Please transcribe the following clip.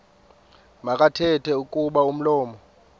makathethe kuba umlomo